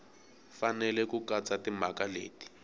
fanele ku katsa timhaka leti